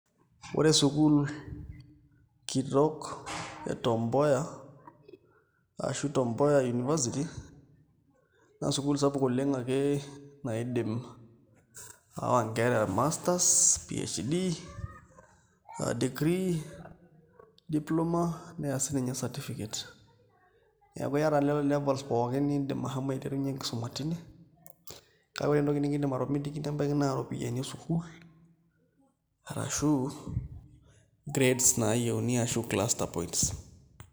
Ore sukuul kitok e Tom Mboya ashu Tom Mboya University naa sukuul sapuk oleng' ake naidim aawa nkera e masters, PHD, degree, diploma ata sininye certificate neeku iata nena levels pookin niidim ashomo aiterunyie enkisuma kake ore entoki nikiindim atomitiki nebaiki naa iropiyiani e sukuul arashu grades naayieuni arashu cluster points.